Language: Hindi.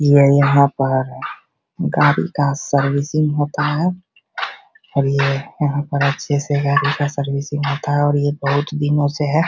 ये यहाँ पर गाड़ी का सर्विसिंग होता है और ये यहाँ पर अच्छे से गाड़ी का सर्विसिंग होता है और ये बहुत दिनों से है |